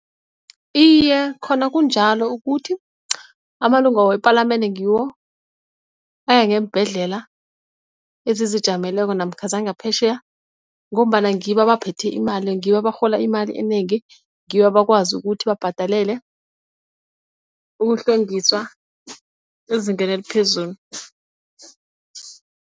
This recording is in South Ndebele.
Iye, khona kunjalo ukuthi amalunga wepalamende ngiwo ayangeembhedlela ezizijameleko namkha zangaphetjheya ngombana ngibo abaphethe imali, ngibo abarhola imali enengi ngibo abakwazi ukuthi babhadalele ukuhlwengisa ezingeni eliphezulu.